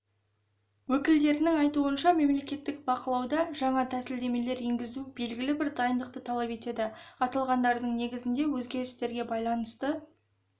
өкілдерінің айтуынша мемлекеттік бақылауда жаңа тәсілдемелер енгізу белгілі бір дайындықты талап етеді аталғандардың негізінде өзгерістерге байланысты